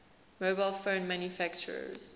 mobile phone manufacturers